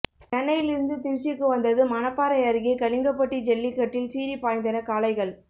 சென்னையிலிருந்து திருச்சிக்கு வந்தது மணப்பாறை அருகே கலிங்கப்பட்டி ஜல்லிக்கட்டில் சீறிப்பாய்ந்தன காளைகள்